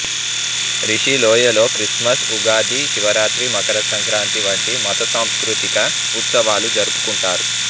రిషి లోయలో క్రిస్మస్ ఉగాది శివరాత్రి మకర సంక్రాంతి వంటి మత సాంస్కృతిక ఉత్సవాలు జరుపుకుంటారు